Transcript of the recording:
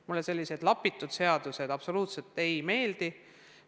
Mulle sellised lapitud seadused absoluutselt ei meeldi.